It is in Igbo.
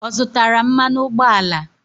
Ọ zụtara mmanụ ụgbọala?